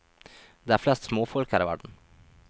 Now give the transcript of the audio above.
Det er flest småfolk her i verden.